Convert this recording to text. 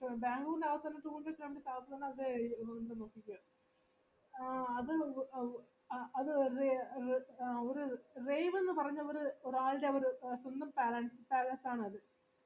അ അത് അത് അത് ഒര് പറഞ്ഞ ഒര് രാജാവ് palace ആണ് അത് എന്താ പറയാ ഈ പറഞ്ഞില്ല ഒര്